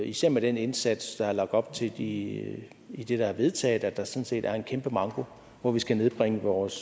især med den indsats der er lagt op til i det der er vedtaget at der sådan set er en kæmpe manko hvor vi skal nedbringe vores